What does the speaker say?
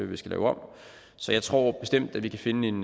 vi skal lave om så jeg tror bestemt at vi kan finde en